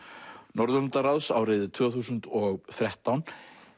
Norðurlandaráðs árið tvö þúsund og þrettán